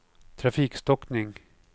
trafikstockning